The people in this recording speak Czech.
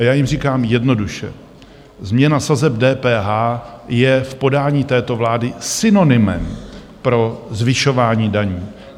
A já jim říkám: jednoduše, změna sazeb DPH je v podání této vlády synonymem pro zvyšování daní.